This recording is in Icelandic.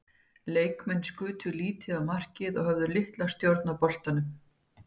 Leikmenn skutu lítið á markið og höfðu litla stjórn á boltanum.